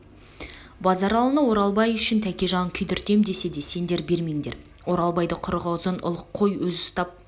базаралыны оралбай үшін тәкежан күйдіртем десе де сендер бермеңдер оралбайды құрығы ұзын ұлық қой өз ұстап